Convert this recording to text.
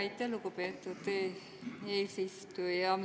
Aitäh, lugupeetud eesistuja!